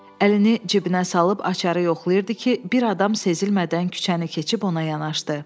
Əlini cibinə salıb açarı yoxlayırdı ki, bir adam sezilmədən küçəni keçib ona yaxınlaşdı.